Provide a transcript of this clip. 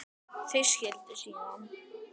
Þau skildu síðan.